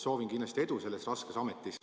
Soovin kindlasti edu selles raskes ametis.